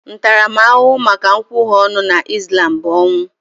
Ntaramahụhụ maka nkwughe ọnụ na Ịslam bụ ọnwụ